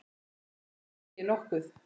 Þér segið nokkuð!